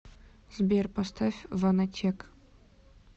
сбер поставь ванотек